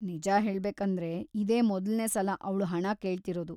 ನಿಜ ಹೇಳ್ಬೇಕಂದ್ರೆ, ಇದೇ ಮೊದಲ್ನೇ ಸಲ ಅವ್ಳು ಹಣ ಕೇಳ್ತಿರೋದು.